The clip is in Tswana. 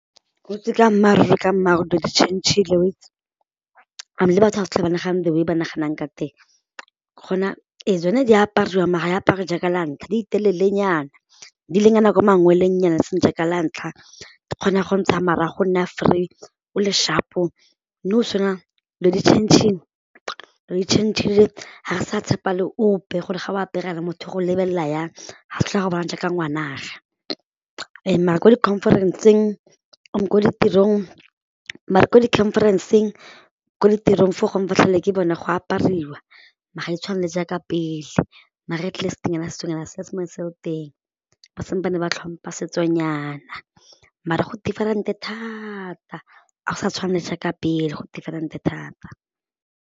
Weitse ka mmaaruri ka mmaaruri dilo di tšhentšhile weitse, and le batho ga sa tlhole ba nagana the way ba naganang ka teng, gona ee tsone di apariwang mara ya apare jaaka la ntlha di telelenyana di ilenyana ko mangwelengnyana e seng jaaka la ntlha di kgona go ntsha marago o nna free o le sharp-o, nou dilo di tšhentšhile, dilo di tšhentšhile ga re sa tshepa le ope gore ga o apere yana motho o go lebelela jang ga a sa tlhole a go bona jaaka ngwana'age and mara ko di-conference-ng, ko ditirong, mara ko di-conference-ng, ko ditirong for gongwe ke tlhole ke bona go apariwa mara ga e tshwane le jaaka pele maar atleast nyana setsonyana se sa ntse se le teng, ba sampane ba tlhompha setsonyana mara go different thata, a go sa tshwane jaaka pele go different thata.